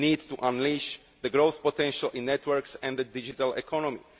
We need to unleash the growth potential in networks and the digital economy.